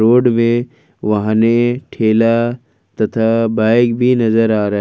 Road में वाहने ठेला तथा बाइक भी नजर आ रहा है।